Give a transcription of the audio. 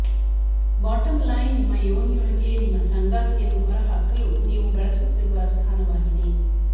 bottom line ನಿಮ್ಮ ಯೋನಿಯೊಳಗೆ ನಿಮ್ಮ ಸಂಗಾತಿಯನ್ನು ಹೊರಹಾಕಲು ನೀವು ಬಳಸುತ್ತಿರುವ ಸ್ಥಾನವಾಗಿದೆ